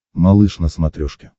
малыш на смотрешке